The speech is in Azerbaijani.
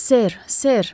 Ser, ser!